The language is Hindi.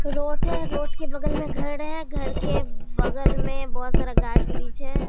रोड है रोड के बगल में घर है घर के बगल में बहोत सारा है।